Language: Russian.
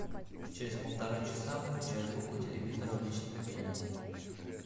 через полтора часа выключай звук у телевизора в личном кабинете